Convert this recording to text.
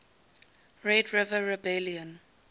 red river rebellion